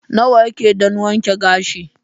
Nawa yake don wanke gashi?